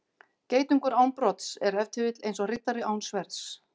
Geitungur án brodds er ef til vill eins og riddari án sverðs.